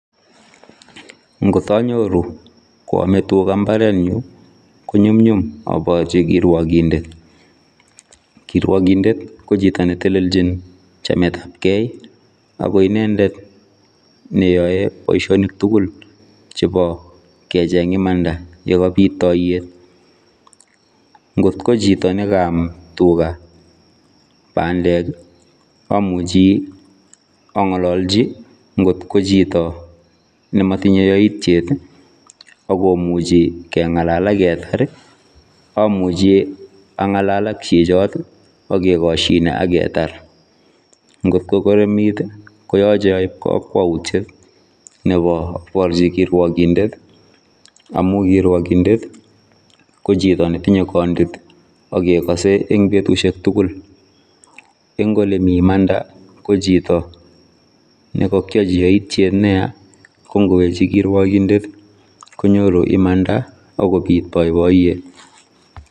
Ngoot anyoruu koyamee tugaah mbaret nyuun ii ko nyumnyum abarjii kiriokindeet kiriokindeet ko chitoo ne teleljiin chameet ab gei agoi inendet ne yae boisionik tugul nebo kecheeng imaanda ye kabiit tayeet, ngoot ko chitoo nekanaam tugaah pandeek ii amuchei angalaljii ngoot ko chitoo ne matinyei yaitiet ii akomuchei kengalal ak ketar ii amuchi angalal ak chichaat amuchei kengalal ii aketaar , ngoot ko koromiit ii koyachei aib kakwautiet nebo abarjii kiriokindeet amuu kiriokindeet ko chitoo ne tinyei kandiit agegasei en olan tugul en ole Mii imanda ko chitoo nekagyajii yaitiet anan ko ne yaa ko kowenjii kiriokindeet konyoruu imaanda agobiit boiboiyet.